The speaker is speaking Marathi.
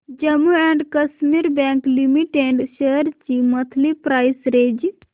Jammu and Kashmir bank limited shares ची मंथली प्राइस रेंज